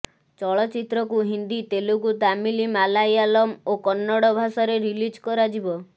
ଚଳଚ୍ଚିତ୍ରକୁ ହିନ୍ଦୀ ତେଲୁଗୁ ତାମିଲ ମାଲାୟାଲମ ଓ କନ୍ନଡ଼ ଭାଷାରେ ରିଲିଜ୍ କରାଯିବ